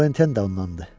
“Florentin də ondan idi?”